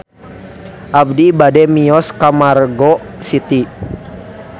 Abi bade mios ka Margo City